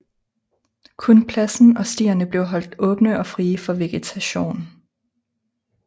Kun pladsen og stierne blev holdt åbne og frie for vegetation